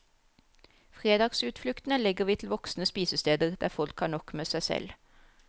Fredagsutfluktene legger vi til voksne spisesteder, der folk har nok med seg selv.